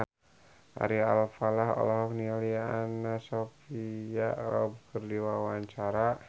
Ari Alfalah olohok ningali Anna Sophia Robb keur diwawancara